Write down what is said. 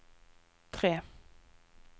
tre